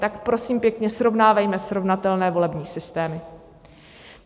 Tak prosím pěkně, srovnávejme srovnatelné volební systémy.